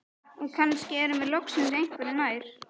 Og kannski erum við loksins einhverju nær.